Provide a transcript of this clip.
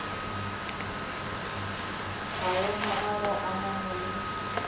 maemo a go amana le